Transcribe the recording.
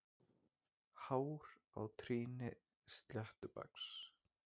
Hár á trýni sléttbaks.